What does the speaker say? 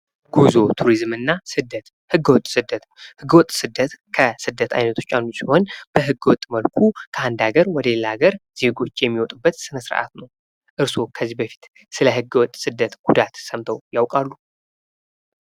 ጉዞ፣ ቱሪዝም እና ስደት፦ ህገወጥ ስደት፦ ህገወጥ ስደት ከስደት አይነቶች አንዱ ሲሆን በህገወጥ መልኩ ከአንድ ሀገር ዜጎች የሚውጡበት ሰነስርዓት ነው። እርስዎ ከዚህ በፊት ስለ ህገወጥ ስደት ጉዳት ሰምተው ያቃሉ?